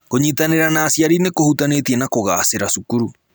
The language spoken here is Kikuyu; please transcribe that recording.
Kũnyitanĩra na aciari nĩ kũhutanĩtie na kũgaacĩra cukuru.